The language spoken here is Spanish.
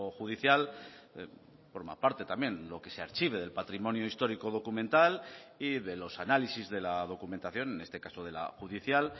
judicial forma parte también lo que se archive del patrimonio histórico documental y de los análisis de la documentación en este caso de la judicial